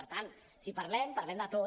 per tant si parlem parlem de tot